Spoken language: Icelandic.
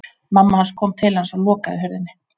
Mamma hans kom til hans og lokaði hurðinni.